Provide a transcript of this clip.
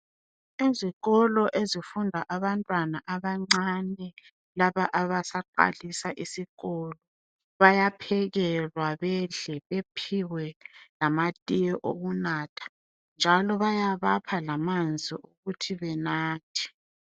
Izikolo ezifunda abantwana abancane laba abasaqalisa isikolo bayaphekelwa bedle bephiwe lamatiye wokunatha njalo bayabapha lamanzi ukuthi benathe